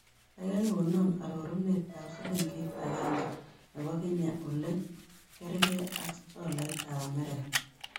Kaigai konoo arorunetap silingiit agenge ne po kenya ole gergei ak tolaitap amerika